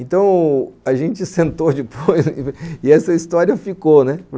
Então, a gente sentou depois e essa história ficou, né?